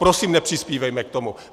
Prosím, nepřispívejme k tomu.